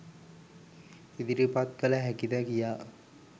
ඉදිරිපත් කළ හැකිද කියා.